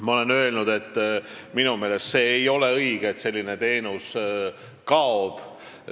Ma olen öelnud, et minu meelest ei ole see õige, et selline teenus kaob.